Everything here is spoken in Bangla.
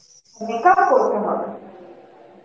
makeup তো করতে হবে